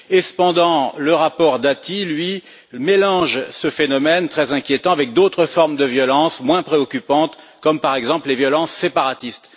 Cependant, le rapport Dati mélange ce phénomène très inquiétant avec d'autres formes de violence moins préoccupantes, comme par exemple les violences séparatistes.